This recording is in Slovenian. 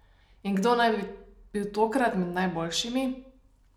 In kdo naj bi bil tokrat med najboljšimi?